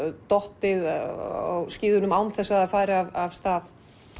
dottið af skíðunum án þess að það væri af stað